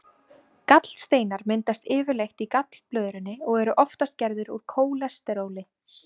Gallsteinar myndast yfirleitt í gallblöðrunni og eru oftast gerðir úr kólesteróli.